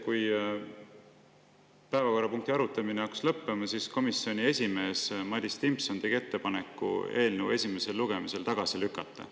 Kui päevakorrapunkti arutamine hakkas lõppema, tegi komisjoni esimees Madis Timpson ettepaneku eelnõu esimesel lugemisel tagasi lükata.